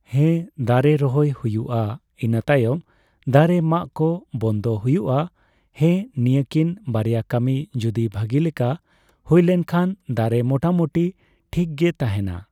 ᱦᱮᱸ ᱫᱟᱨᱮ ᱨᱚᱦᱚᱭ ᱦᱩᱭᱩᱜ ᱟ ᱤᱱᱟᱹ ᱛᱟᱭᱢ ᱫᱟᱨᱮ ᱢᱟᱜᱠᱚ ᱵᱚᱱᱫ ᱦᱩᱭᱩᱜ ᱟ ᱦᱮᱸ ᱱᱤᱭᱟᱹᱠᱤᱱ ᱵᱟᱨᱭᱟ ᱠᱟᱹᱢᱤ ᱡᱚᱫᱤ ᱵᱷᱟᱜᱤ ᱞᱮᱠᱟ ᱦᱩᱭᱞᱮᱱᱠᱷᱟᱱ ᱫᱟᱨᱮ ᱢᱚᱴᱟ ᱢᱚᱴᱤ ᱴᱷᱤᱠᱜᱮ ᱛᱟᱦᱮᱸᱱᱟ ᱾